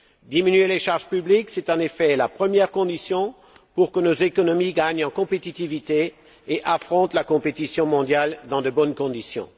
Diminuer les charges publiques, c'est en effet la première condition pour que nos économies gagnent en compétitivité et affrontent la compétition mondiale dans de bonnes conditions.